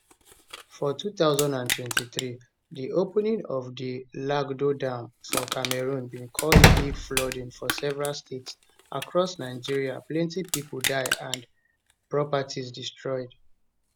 for 2023 di opening of di lagdo dam for cameroon bin cause big flooding for several states across nigeria plenty pipo die and and properties destroyed